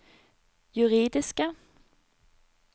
juridiske